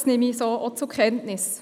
Das nehme ich so auch zur Kenntnis.